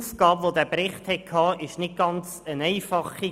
Das Erstellen dieses Berichts war nicht ganz einfach.